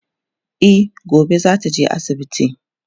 E gobe zata je asibiti